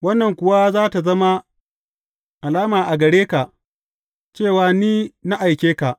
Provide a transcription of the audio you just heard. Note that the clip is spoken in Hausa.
Wannan kuwa za tă zama alama a gare ka cewa Ni na aike ka.